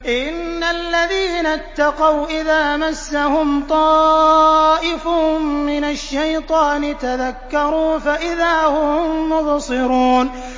إِنَّ الَّذِينَ اتَّقَوْا إِذَا مَسَّهُمْ طَائِفٌ مِّنَ الشَّيْطَانِ تَذَكَّرُوا فَإِذَا هُم مُّبْصِرُونَ